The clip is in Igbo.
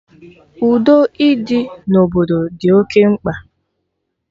Udo ịdị na obodo dị oké mkpa